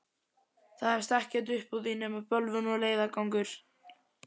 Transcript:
Það hefst ekkert uppúr því nema bölvun og leiðangur!